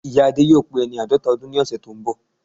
Ìya Adé yóò pé ẹni àádọ́ta ọdún ní ọ̀sẹ̀ tó ń bọ̀